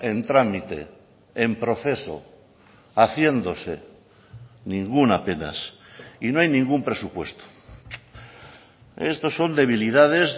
en trámite en proceso haciéndose ninguna apenas y no hay ningún presupuesto esto son debilidades